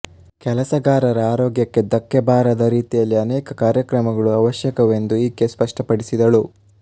ಕೆಲಸಗಾರರ ಆರೋಗ್ಯಕ್ಕೆ ಧಕ್ಕೆ ಬಾರದ ರೀತಿಯಲ್ಲಿ ಅನೇಕ ಕಾರ್ಯಕ್ರಮಗಳು ಅವಶ್ಯಕವೆಂದು ಈಕೆ ಸ್ಪಷ್ಟಪಡಿಸಿದಳು